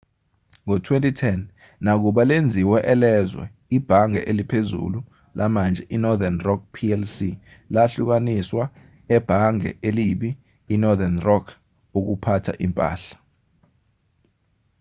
ngo-2010 nakuba lenziwe elezwe ibhange eliphezulu lamanje i-northern rock plc lahlukaniswa ‘ebhange elibi‘ i-northern rock ukuphatha impahla